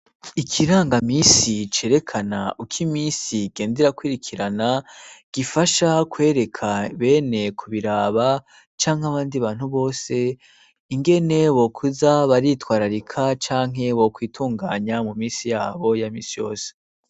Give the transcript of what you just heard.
Ikirangaminsi cerekana uko iminsi igenda irakwirikirana, gifasha kwereka bene kubiraba canke abandi bantu bose, ingene bokuza baritwararika canke bokwitunganya mu minsi yabo ya minsi yose.